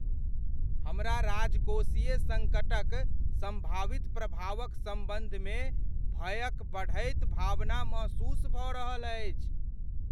हमरा राजकोषीय सङ्कटक सम्भावित प्रभावक सम्बन्धमे भयक बढ़ैत भावना महसूस भऽ रहल अछि।